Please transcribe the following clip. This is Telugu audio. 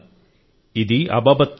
ఇది అబాబత్ త్యాగం